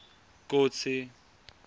kotsi